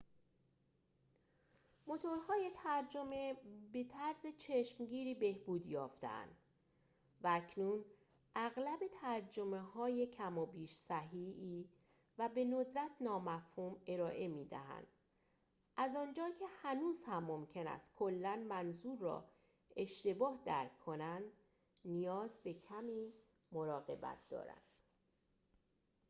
موتورهای ترجمه به طرز چشمگیری بهبود یافته اند، و اکنون اغلب ترجمه های کم و بیش صحیحی و به ندرت نامفهوم ارائه می دهند، از آنجا که هنوز هم ممکن است کلا منظور را اشتباه درک کنند، نیاز به کمی مراقبت دارند